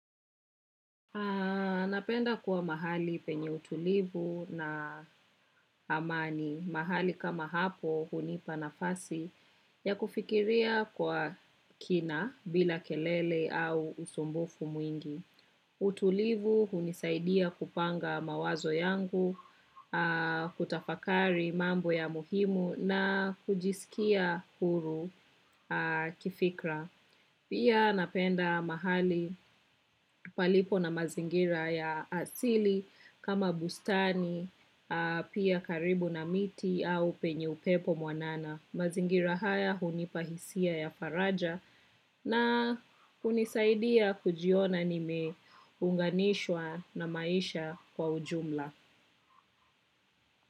Napenda kuwa mahali penye utulivu na amani. Mahali kama hapo hunipa nafasi ya kufikiria kwa kina bila kelele au usumbufu mwingi. Utulivu hunisaidia kupanga mawazo yangu, kutafakari mambo ya muhimu na kujisikia huru kifikra. Pia napenda mahali palipo na mazingira ya asili kama bustani, pia karibu na miti au penye upepo mwanana. Mazingira haya hunipa hisia ya faraja na hunisaidia kujiona nimeunganishwa na maisha kwa ujumla.